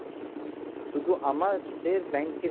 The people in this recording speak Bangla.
শুধু আমাদের bank এর